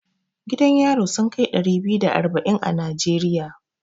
Gidan yari sun kai ɗari biyu da arba'in a Najeriya.